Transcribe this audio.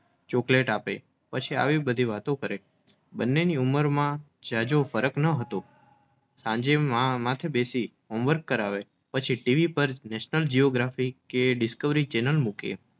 chocolate આપે પછી આવી બધી વાતો કરે બંનેની ઉંબરમાં જજો ફરક ન હતો સાંજે માં માથે બેસી Homework કરાવે પછી ટીવી પર national geographic કે Discovery ચેનલ મૂકે